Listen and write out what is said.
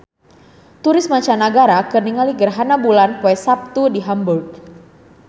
Turis mancanagara keur ningali gerhana bulan poe Saptu di Hamburg